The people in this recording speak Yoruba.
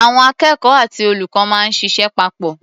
Àwọn akẹ́kọ̀ó àti olùkọ́ máa ń ṣịṣẹ́ papọ̀.